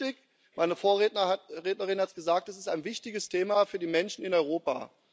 Es ist richtig meine Vorrednerin hat es gesagt Das ist ein wichtiges Thema für die Menschen in Europa.